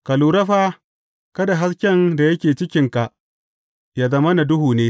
Ka lura fa, kada hasken da yake cikinka ya zamana duhu ne.